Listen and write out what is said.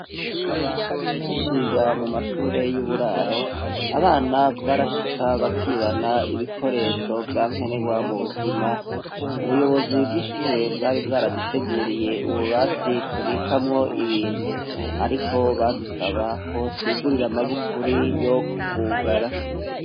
Tuciga mu mashure yuburaro abana vyarashika bakibana ibikoresho vyakenerwa mubuzima. Ubuyobozi bwishure bwari bwaraduteguriye ububati tubikamwo ibintu ariko badusaba ko twigurira amagufuri yo kuhugara.